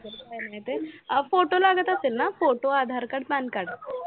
photo लागत असेल ना photo, AADHAR card, PAN card